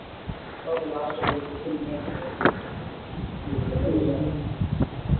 okay last கொஞ்சம் fifteen minutes